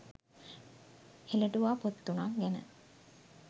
හෙළටුවා පොත් තුනක් ගැන